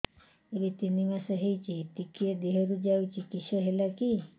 ଏବେ ତିନ୍ ମାସ ହେଇଛି ଟିକିଏ ଦିହରୁ ଯାଉଛି କିଶ ହେଲାକି